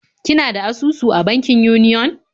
Kina da asusu a bankin Union?